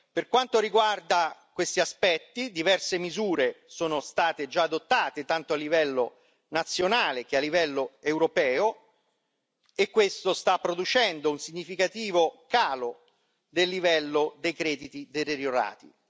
Per quanto riguarda questi aspetti, diverse misure sono già state adottate, tanto a livello nazionale che a livello europeo, e questo sta producendo un significativo calo del livello dei crediti deteriorati.